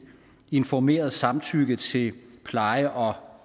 informeret samtykke til pleje og